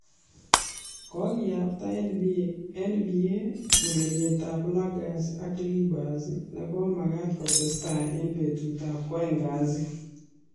Kokiyapta NBA urerietab Lakers ak Clippers ne komakat kotestai eng betutab kwoeng kasi .